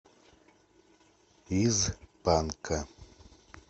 из панка